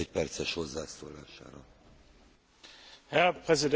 Herr Präsident, Herr Kommissar, meine sehr verehrten Damen und Herren Kollegen!